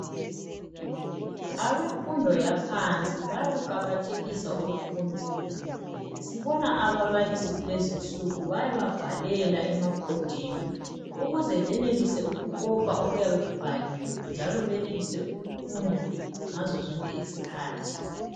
Abemfundo yaphansi bayakuqakathekisa ukufunda sibona ababalisi kulezinsuku bayababhalela emabhodini ukuze benelise ukukopa okuyabe kubhaliwe njalo benelise ukufunda ngazo zonke izikhathi.